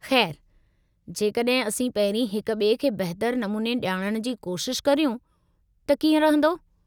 ख़ैर, जेकॾहिं असीं पहिरीं हिक ॿिए खे बहितरु नमूने ॼाणणु जी कोशिश करियूं त कीअं रहिंदो?